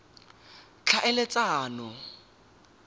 tlhaeletsano